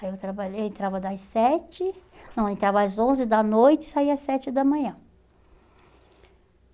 Aí eu trabalhei, entrava das sete, não, entrava às onze da noite e saía às sete da manhã.